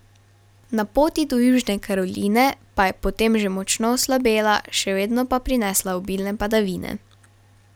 Na poti do Južne Karoline pa je potem že močno oslabela, še vedno pa prinesla obilne padavine.